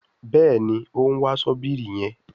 Béèni òún wá Ṣọ́bìrì yén.